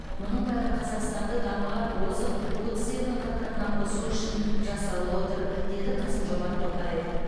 мұның бәрі қазақстанды дамыған озық отыз елдің қатарына қосу үшін жасалып отыр деді қасым жомарт тоқаев